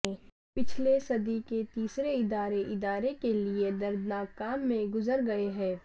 پچھلے صدی کے تیسرے ادارے ادارے کے لئے دردناک کام میں گزر گئے ہیں